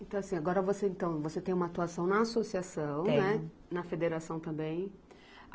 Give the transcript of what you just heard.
Então assim, agora você então, você tem uma atuação na associação, né. Tenho. Na federação também?